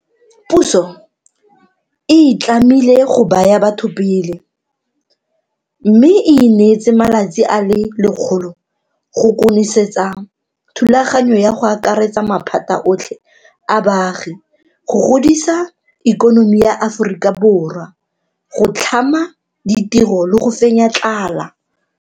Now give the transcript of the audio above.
Puso e itlamile go baya batho pele, mme e ineetse malatsi a le 100 go konosetsa thulaganyo ya go akaretsa maphata otlhe a baagi go godisa ikonomi ya Aforika Borwa, go tlhama ditiro le go fenya tlala.